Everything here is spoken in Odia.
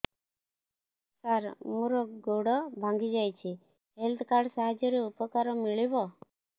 ସାର ମୋର ଗୋଡ଼ ଭାଙ୍ଗି ଯାଇଛି ହେଲ୍ଥ କାର୍ଡ ସାହାଯ୍ୟରେ ଉପକାର ମିଳିବ